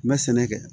N bɛ sɛnɛ kɛ